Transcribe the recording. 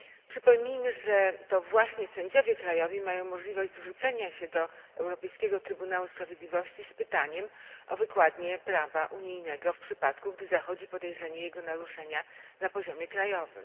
Przypomnijmy, że to właśnie sędziowie krajowi mają możliwość zwrócenia się do Europejskiego Trybunału Sprawiedliwości z pytaniem o wykładnię prawa unijnego w przypadku, gdy zachodzi podejrzenie jego naruszenia na poziomie krajowym.